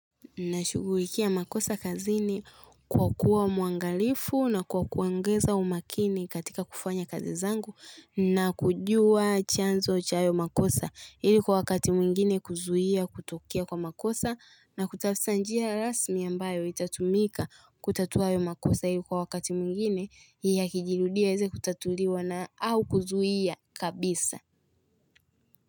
Nashughulikia makosa kazi ni kwa kuwa mwangalifu na kwa kuongeza umakini katika kufanya kazi zangu na kujua chanzo cha hayo makosa ili kwa wakati mwingine kuzuia kutokea kwa makosa na kutaftsa njia rasmi ambayo itatumika kutatua hayo makosa ili kwa wakati mwingine ya kijirudia yaeze kutatuliwa na au kuzuia kabisa.